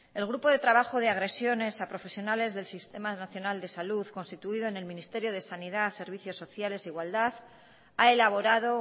el grupo de trabajo de agresiones a profesionales del sistema nacional de salud constituido en el ministerio de sanidad servicios sociales igualdad ha elaborado